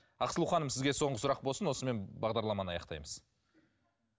ақсұлу ханым сізге соңғы сұрақ болсын осымен бағдарламаны аяқтаймыз